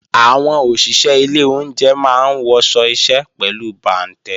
Àwọn òṣìṣé ilé oúnje máa ń wọṣọ iṣẹ́ pẹ̀lú bàǹtẹ́